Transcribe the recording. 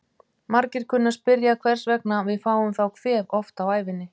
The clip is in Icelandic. Margir kunna að spyrja hvers vegna við fáum þá kvef oft á ævinni.